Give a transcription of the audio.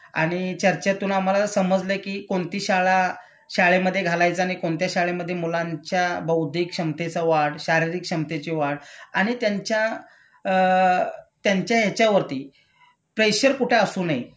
आणि चर्चेतून आम्हाला समजलंय कि कोणती शाळा शाळेमधे घालायचं आणि कोणत्या शाळेमधे मुलांच्या बौद्धिक क्षमतेचं वाढ, शारीरिक क्षमतेची वाढ आणि त्यांच्या अ त्यांच्या याच्यावरती प्रेशर कुठे असू नये